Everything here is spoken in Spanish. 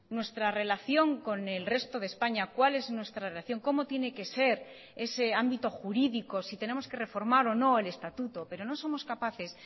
nuestra relación con el resto de españa cuál es nuestra relación cómo tiene que ser ese ámbito jurídico si tenemos que reformar o no el estatuto pero no somos capaces